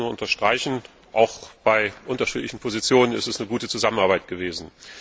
Ich kann das nur unterstreichen, trotz unterschiedlicher Positionen ist es eine gute Zusammenarbeit gewesen.